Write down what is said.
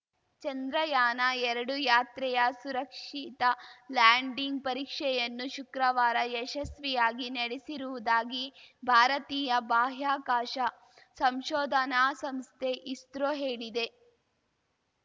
ಚಂದ್ರಯಾನಎರಡು ಯಾತ್ರೆಯ ಸುರಕ್ಷಿತ ಲ್ಯಾಂಡಿಂಗ್‌ ಪರೀಕ್ಷೆಯನ್ನು ಶುಕ್ರವಾರ ಯಶಸ್ವಿಯಾಗಿ ನಡೆಸಿರುವುದಾಗಿ ಭಾರತೀಯ ಬಾಹ್ಯಾಕಾಶ ಸಂಶೋಧನಾ ಸಂಸ್ಥೆ ಇಸ್ರೋ ಹೇಳಿದೆ